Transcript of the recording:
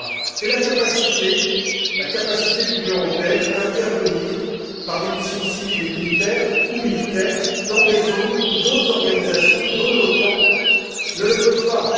C'est la capacité de l'Union européenne à intervenir par des missions civiles et militaires, ou militaires, dans des zones où d'autres organisations, dont l'OTAN, ne le peuvent pas.